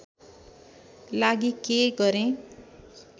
लागि के गरेँ